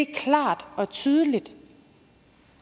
klart og tydeligt